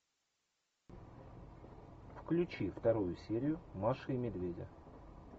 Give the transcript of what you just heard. включи вторую серию маши и медведя